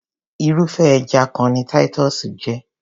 Irúfé ẹja kan ni Titus jé.